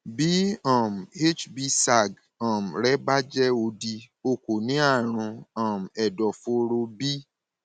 bí hbsag rẹ bá jẹ òdì o kò ní àrùn um ẹdọfóró b